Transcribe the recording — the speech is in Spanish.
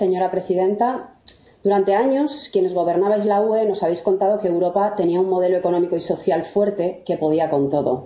Señora presidenta, durante años, quienes gobernabais la UE nos habéis contado que Europa tenía un modelo económico y social fuerte que podía con todo.